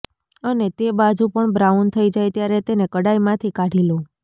અને તે બાજુ પણ બ્રાઉન થઇ જાય ત્યારે તેને કડાઈમાંથી કાઢી લો